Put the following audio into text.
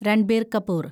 Ranbir Kapoor